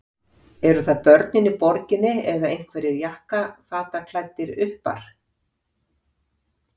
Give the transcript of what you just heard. Eru það börnin í borginni eða einhverjir jakkafataklæddir uppar?